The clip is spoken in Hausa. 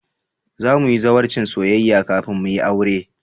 Za mu yi zawarcin soyayya kafin mu yi aure